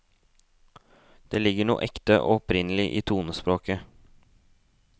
Det ligger noe ekte og opprinnelig i tonespråket.